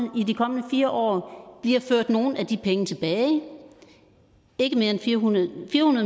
fire år bliver ført nogle af de penge tilbage fire hundrede